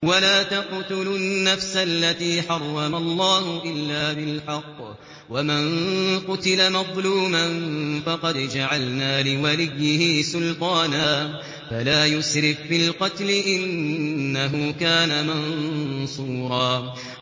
وَلَا تَقْتُلُوا النَّفْسَ الَّتِي حَرَّمَ اللَّهُ إِلَّا بِالْحَقِّ ۗ وَمَن قُتِلَ مَظْلُومًا فَقَدْ جَعَلْنَا لِوَلِيِّهِ سُلْطَانًا فَلَا يُسْرِف فِّي الْقَتْلِ ۖ إِنَّهُ كَانَ مَنصُورًا